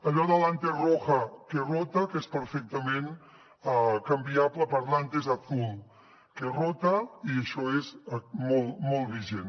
allò de l’ antes roja que rota que és perfectament canviable per l’ antes azul que rota i això és molt vigent